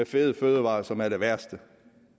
fede fødevarer som er det værste